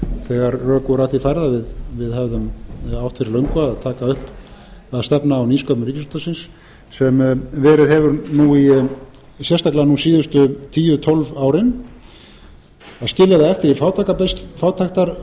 þegar rök voru að því færð að við hefðum átt fyrir löngu að taka upp að stefna á nýsköpun ríkisútvarpsins sem verið hefur nú sérstaklega hin síðustu tíu tólf árin að skilja það eftir